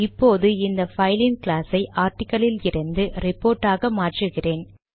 இப்போது இந்த பைலின் கிளாஸ் ஐ ஆர்டிக்கிள் லிலிருந்து ரிப்போர்ட் ஆக மாற்றுகிறோம்